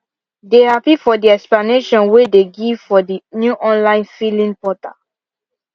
they happy for the explanation way they give for the new online filling portal